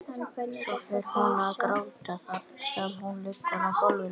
Svo fer hún að gráta þar sem hún liggur á gólfinu.